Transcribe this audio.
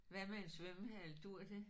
Hvad med en svømmehal duer det?